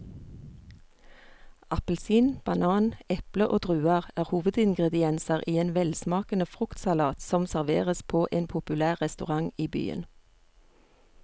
Appelsin, banan, eple og druer er hovedingredienser i en velsmakende fruktsalat som serveres på en populær restaurant i byen.